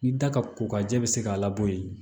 Ni da ka kokajɛ bɛ se k'a labɔ yen